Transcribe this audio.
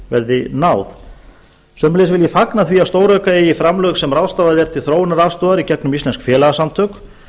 verði náð sömuleiðis vil ég fagna því að stórauka eigi framlög sem ráðstafað er til þróunaraðstoðar gegnum íslensk félagasamtök